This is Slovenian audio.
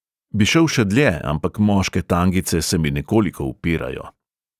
Bi šel še dlje, ampak moške tangice se mi nekoliko upirajo ...